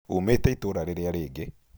Uumĩte itũũra rĩrĩa rĩngĩ?